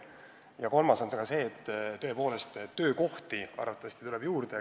Ja kolmandaks, tõepoolest töökohti arvatavasti tuleb juurde.